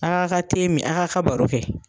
A' k'a' ka min, a' k'a' ka baro kɛ.